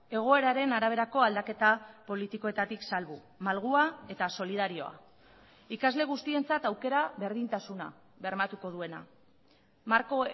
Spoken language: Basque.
egoeraren araberako aldaketa politikoetatik salbu malgua eta solidarioa ikasle guztientzat aukera berdintasuna bermatuko duena marko